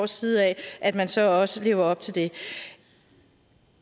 side at at man så også lever op til det